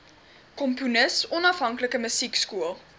komponis onafhanklike musiekskool